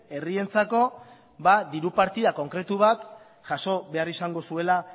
herrientzako diru partida konkretu bat jaso behar izango zuela